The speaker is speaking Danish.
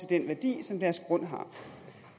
den værdi som deres grund har